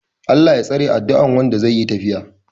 "Allah Ya tsare" adduan Wanda zai yi tafiya